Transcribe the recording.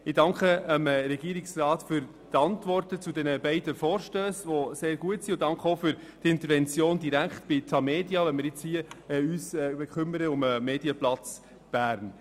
Ich danke dem Regierungsrat für seine sehr guten Antworten auf die beiden Vorstösse und auch für seine direkte Intervention bei der Tamedia, mit der er sich um den Medienplatz Bern kümmert.